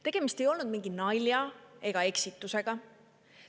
Tegemist ei olnud mingi nalja ega eksitusega.